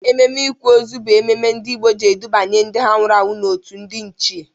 Ememe ịkwa ozu bụ ememe ndị Igbo ji edubanya ndị ha nwụrụ anwụ n'otu ndị ichie.